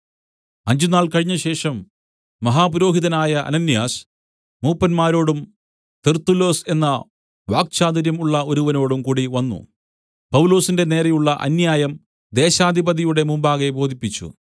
അഞ്ചുനാൾ കഴിഞ്ഞശേഷം മഹാപുരോഹിതനായ അനന്യാസ് മൂപ്പന്മാരോടും തെർത്തുല്ലൊസ് എന്ന വാക്ചാതുര്യം ഉള്ള ഒരുവനോടും കൂടിവന്നു പൗലൊസിന്റെ നേരെയുള്ള അന്യായം ദേശാധിപതിയുടെ മുമ്പാകെ ബോധിപ്പിച്ചു